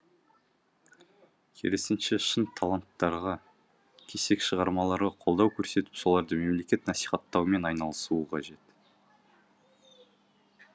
керісінше шын таланттарға кесек шығармаларға қолдау көрсетіп соларды мемлекет насихаттаумен айналысуы қажет